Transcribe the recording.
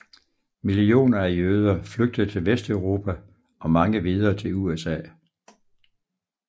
Millioner af jøder flygtede til Vesteuropa og mange videre til USA